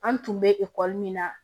An tun bɛ ekɔli min na